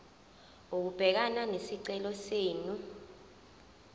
ukubhekana nesicelo senu